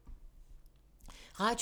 Radio 4